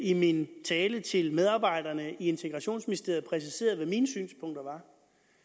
i min tale til medarbejderne i integrationsministeriet præciserede hvad mine synspunkter